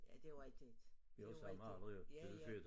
Ja det jo rigtigt det jo rigtigt ja ja